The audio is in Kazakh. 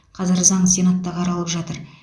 қазір заң сенатта қаралып жатыр